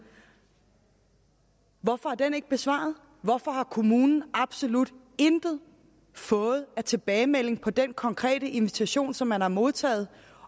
hvorfor er den ikke besvaret hvorfor har kommunen absolut intet fået af tilbagemelding på den konkrete invitation som man har modtaget